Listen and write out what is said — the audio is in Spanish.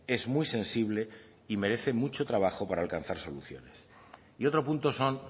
es muy sensible y merece mucho trabajo para alcanzar soluciones y otro punto son